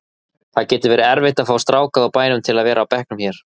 Það getur verið erfitt að fá stráka úr bænum til að vera á bekknum hér.